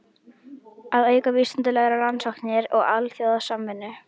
Að auka vísindalegar rannsóknir og alþjóðasamvinnu.